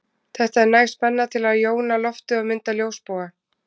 Þetta er næg spenna til að jóna loftið og mynda ljósboga.